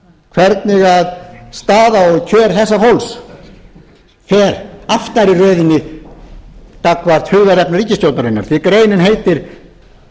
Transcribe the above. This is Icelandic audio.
hvernig staða og kjör þessa fólks er aftar í röðinni gagnvart hugðarefnum ríkisstjórnarinnar því greinin heitir